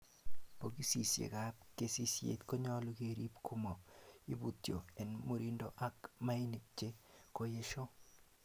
Bokisisiek ab kesisiek konyolu keerib komo ibutyoo, en murindo ak mainik che koyesho.